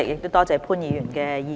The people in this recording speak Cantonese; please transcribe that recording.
多謝潘議員的意見。